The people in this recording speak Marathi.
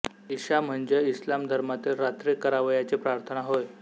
इशा म्हणजे इस्लाम धर्मातील रात्री करावयाची प्रार्थना होय